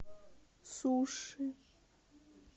суши